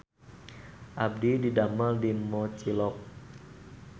Abdi didamel di Mochilok